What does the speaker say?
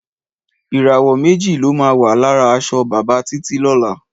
Ìràwọ̀ méjì ló máa wà lára aṣọ bàbá Títí lọ́la.